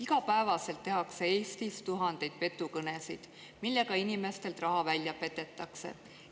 Iga päev tehakse Eestis tuhandeid petukõnesid, millega inimestelt raha välja petetakse.